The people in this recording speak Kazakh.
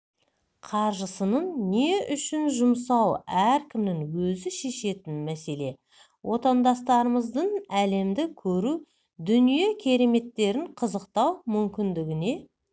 қаржысын не үшін жұмсау әркімнің өзі шешетін мәселе отандастарымыздың әлемді көру дүние кереметтерін қызықтау мүмкіндігіне